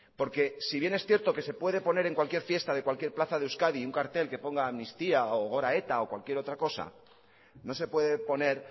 porque si bien es cierto que se puede poner en cualquier fiesta de cualquier plaza de euskadi un cartel que ponga amnistía o gora eta o cualquier otra cosa no se puede poner